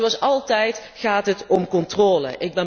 Maar zoals altijd gaat het om controle.